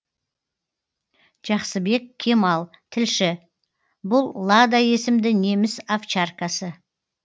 жақсыбек кемал тілші бұл лада есімді неміс овчаркасы